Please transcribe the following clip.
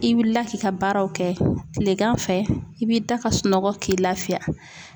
I wulila k'i ka baaraw kɛ, kilegan fɛ i b'i da ka sunɔgɔ k'i lafiya.